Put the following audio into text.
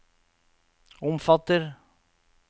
omfatter